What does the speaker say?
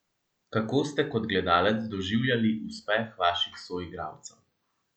Kako ste kot gledalec doživljali uspeh vaših soigralcev?